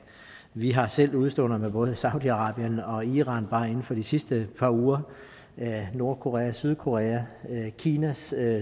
vi har selv udeståender med både saudi arabien og iran bare inden for de sidste par uger der er nordkorea og sydkorea og kinas